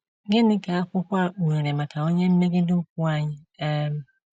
Gịnị ka akwụkwọ a kpughere maka onye mmegide ukwu anyị um?